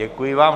Děkuji vám.